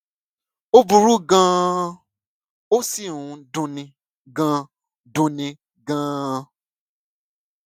ó burú gan an ó sì ń dunni gan dunni gan an